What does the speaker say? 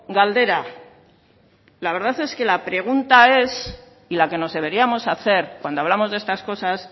galdera la verdad es que la pregunta es y la que nos deberíamos hacer cuando hablamos de estas cosas